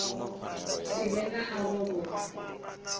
si vhe na avho vho